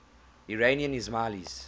iranian ismailis